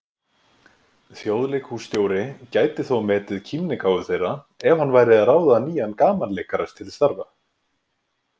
Þjóðleikhússtjóri gæti þó metið kímnigáfu þeirra ef hann væri að ráða nýjan gamanleikara til starfa.